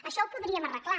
això ho podríem arreglar